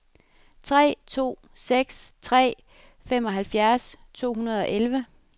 tre to seks tre femoghalvfjerds to hundrede og elleve